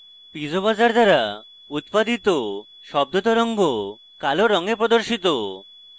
piezo buzzer দ্বারা উৎপাদিত শব্দ তরঙ্গ কালো রঙে প্রদর্শিত